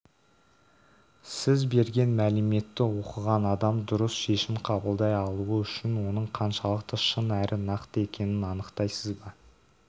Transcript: сіз берген мәліметті оқыған адам дұрыс шешім қабылдай алуы үшін оның қаншалықты шын әрі нақты екенін анықтайсыз ба